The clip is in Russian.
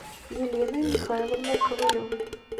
еленой михайловной ковалевой